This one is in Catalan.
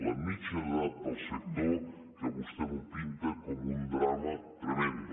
la mitjana d’edat del sector que vostè m’ho pinta com un drama tremend